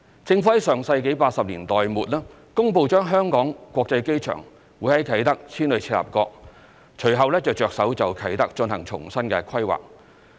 政府在上世紀80年代末公布把香港國際機場從啟德遷往赤鱲角，隨後便着手就啟德進行重新規劃。